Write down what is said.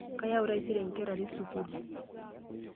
Kayau taisere nkera are sukuul.